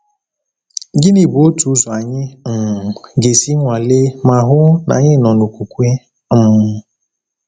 Gịnị bụ otu ụzọ anyị um ga-esi nwalee ma hụ na anyị nọ n’okwukwe? um